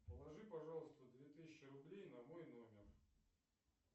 положи пожалуйста две тысячи рублей на мой номер